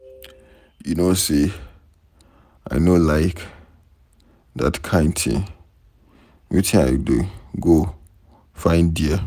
You no say I no dey like dat kin thing. Wetin I dey go find there?